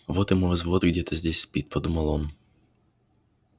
вот и мой взвод где-то здесь спит подумал он